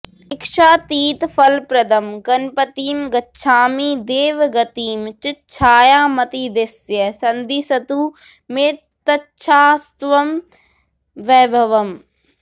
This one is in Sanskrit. इच्छातीतफलप्रदं गणपतिं गच्छामि देवं गतिं चिच्छायामतिदिश्य सन्दिशतु मे तच्छाश्वतं वैभवम्